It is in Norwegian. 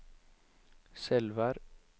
Selvær